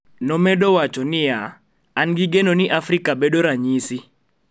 Nomedo wacho niya " an gi geno ni Afrika bedo ranyisi